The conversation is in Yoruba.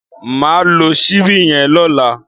Mà á lo síbí yen lọ́lá